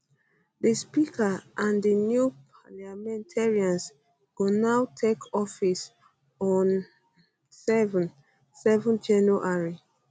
di speaker and di new parliamentarians go now take office on um 7 um 7 january